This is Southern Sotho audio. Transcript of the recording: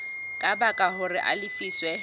ka baka hore a lefiswe